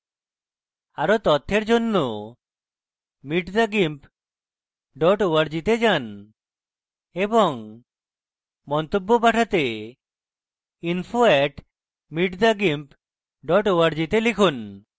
আরো তথ্যের জন্য